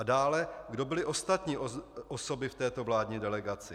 A dále: Kdo byly ostatní osoby v této vládní delegaci?